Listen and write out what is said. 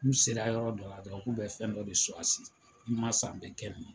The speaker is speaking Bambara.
N'u sera yɔrɔ dɔ la dɔrɔn k'u bɛ fɛn dɔ de n'i n ma sa n bɛ kɛ nin ye.